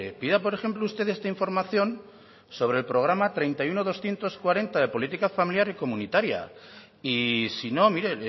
pida por ejemplo usted esta información sobre el programa treinta y uno mil doscientos cuarenta de política familiar y comunitaria y si no mire